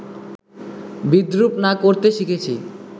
বিদ্রূপ না করতে শিখেছি